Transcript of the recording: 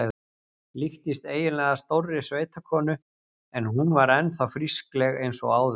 Líktist eiginlega stórri sveitakonu en hún var enn þá frískleg eins og áður.